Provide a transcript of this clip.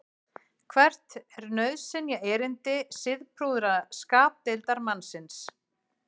hvert er nauðsynjaerindi siðprúða skapdeildarmannsins